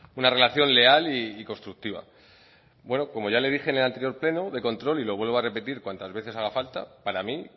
una relación leal y constructiva bueno como ya le dije en el anterior pleno de control y lo vuelvo a repetir cuantas veces haga falta para mí